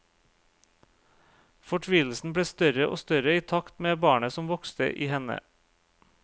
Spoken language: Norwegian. Fortvilelsen ble større og større i takt med barnet som vokste i henne.